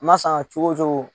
N ma san cogo cogo.